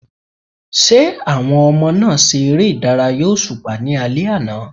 Ṣé àwọn ọmọ náà ṣe ère ìdárayá òṣùpá ní alẹ́ àná?